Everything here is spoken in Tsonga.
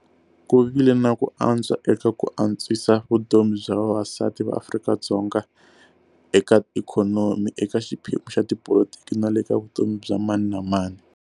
Ku vile na ku antswa eka ku antswisa vutomi bya vavasati va Afrika-Dzonga eka ikhonomi, eka xiphemu xa tipolotiki na le ka vutomi bya mani na mani.